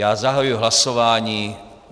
Já zahajuji hlasování.